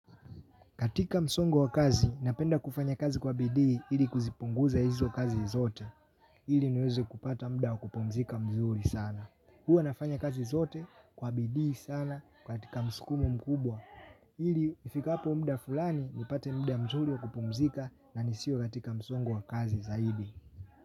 Katika msongo wa kazi, napenda kufanya kazi kwa bidii ili kuzipunguza hizo kazi zote. Ili niweze kupata muda wa kupumzika mzuri sana. Huwa nafanya kazi zote kwa bidii sana katika msukumo mkubwa. Ili ifikapo muda fulani, nipate muda mzuri wa kupumzika na nisio katika msongo wa kazi zaidi.